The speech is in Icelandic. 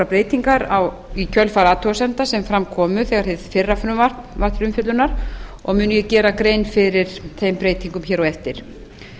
breytingar í kjölfar athugasemda sem fram komu þegar hið fyrra frumvarp var til umfjöllunar og mun ég gera grein fyrir þeim breytingum hér á eftir